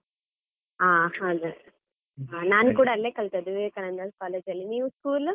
ಹಾ ಹಾಗೆ, ನಾನು ಕೂಡ ಅಲ್ಲೇ ಕಲ್ತದ್ದು ವಿವೇಕಾನಂದ college ಅಲ್ಲಿ, ನೀವ್ school ?